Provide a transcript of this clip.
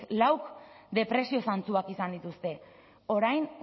lauk depresio zantzuak izan dituzte orain